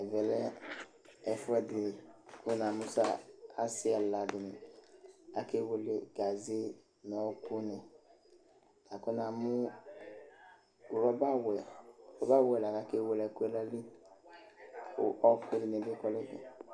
Ɛmɛ lɛ ɛfʋɛdɩ kʋ na mʋ asɩ ɛla dɩnɩ akewele ɛkʋRɔba wɛ li la kʋ akewele ɛkʋɛ